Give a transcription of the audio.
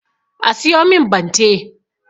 A siyo min bante